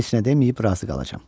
Heç nə deməyib razı qalacam.